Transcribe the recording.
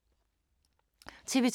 TV 2